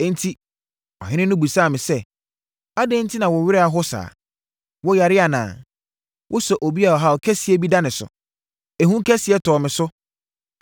Enti, ɔhene no bisaa me sɛ, “Adɛn enti na wo werɛ aho saa? Woyare anaa? Wosɛ obi a ɔhaw kɛseɛ bi da ne so.” Ehu kɛseɛ tɔɔ me so,